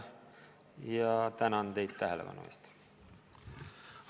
Tänan teid tähelepanu eest!